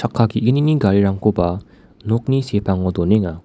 ge·gnini garirangkoba nokni sepango donenga.